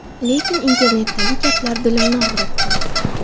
Lekin internetdagi gaplar dilimni og‘ritdi”.